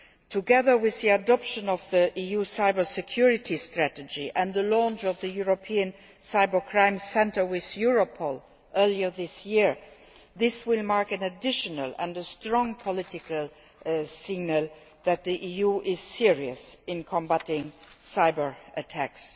Together with the adoption of the EU Cybersecurity Strategy and the launch of the European Cybercrime Centre with Europol earlier this year, this will mark an additional and a strong political signal that the EU is serious in combating cyber attacks.